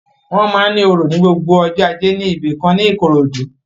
Wọ́n máa ń òrò ni gbogbo ọjọ́ ajé ní ibìkan ní Ìkòròdú